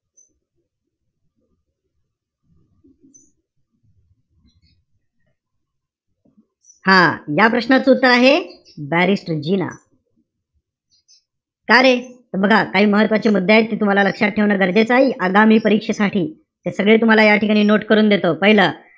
हा. ज्या प्रश्नाचं उत्तर आहे, barristor जिना. चालेल. त बघा काही महत्वाचे मुद्दे आहेत. ते तुम्हाला लक्षात ठेवणं गरजेचं आहे. आगामी परीक्षेसाठी ते सगळे तुम्हाला या ठिकाणी note करून देतो. पाहिलं,